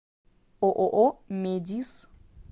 ооо медис